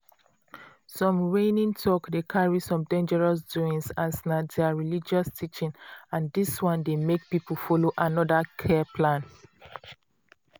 some reigning talk dey carry some dangerous doings as na their religious teaching and dis one dey make people follow another care plan.